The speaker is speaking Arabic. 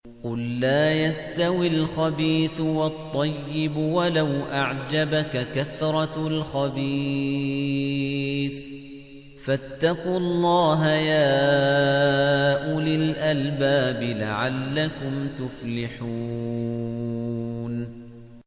قُل لَّا يَسْتَوِي الْخَبِيثُ وَالطَّيِّبُ وَلَوْ أَعْجَبَكَ كَثْرَةُ الْخَبِيثِ ۚ فَاتَّقُوا اللَّهَ يَا أُولِي الْأَلْبَابِ لَعَلَّكُمْ تُفْلِحُونَ